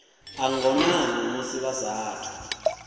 a ngonani musi vha saathu